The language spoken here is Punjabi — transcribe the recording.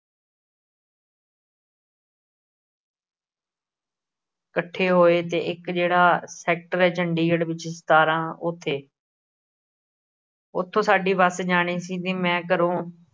ਇੱਕਠੇ ਹੋਏ, ਤੇ ਇੱਕ ਜਿਹੜਾ ਸੈਕਟਰ ਹੈ। ਚੰਡੀਗੜ੍ਹ ਵਿੱਚ ਸਤਾਰਾਂ ਉੱਥੇ ਉਥੋਂ ਸਾਡੀ ਬੱਸ ਜਾਣੀ ਸੀ , ਮੈਂ ਘਰੋਂ